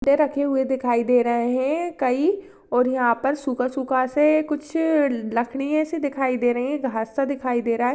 रखे हुए दिखाई दे रहे है कई और यहां पर सूखा सूखा से कुछ लकडिया सी दिखाई दे रही है घास सी दिखाई दे रही है।